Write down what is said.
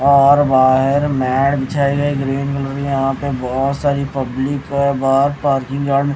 और बाहर matte green colour यहां पे बहुत सारी पब्लिक है बाहर पार्किंग